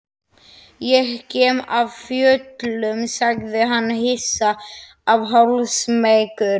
Ég kem af fjöllum, sagði hann hissa og hálfsmeykur.